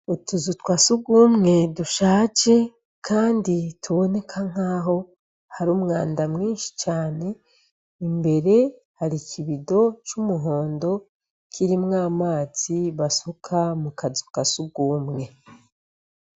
Utuzu twa sugumwe dushaje kandi tuboneka nk'aho hari umwanda mwinshi cane, imbere hari ikibido c'umuhondo kirimwo amazi basuka mu kazu ka sugumwe.